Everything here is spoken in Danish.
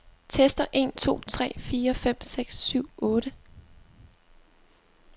Tester en to tre fire fem seks syv otte.